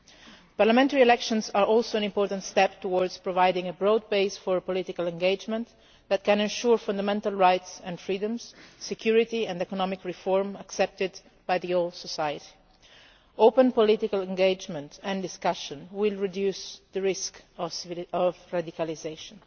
The parliamentary elections are also an important step towards providing a broad base for political engagement that can ensure fundamental rights and freedoms, security and economic reform accepted by the whole of society. Open political engagement and discussion will reduce the risk of radicalisation.